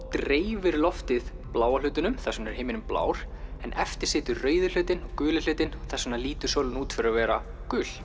dreifir loftið bláa hlutanum þess vegna er himinninn blár eftir situr rauði hlutinn og guli hlutinn þess vegna lítur sólin út fyrir að vera gul